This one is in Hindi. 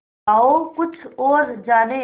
आओ कुछ और जानें